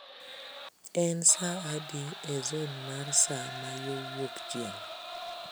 En saa adi e zon mar saa ma yo wuokchieng'